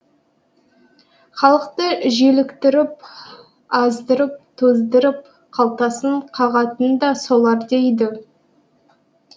халықты желіктіріп аздырып тоздырып қалтасын қағатын да солар дейді